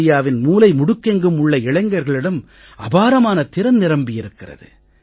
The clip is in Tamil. இந்தியாவின் மூலை முடுக்கெங்கும் உள்ள இளைஞர்களிடம் அபாரமான திறன் நிரம்பியிருக்கிறது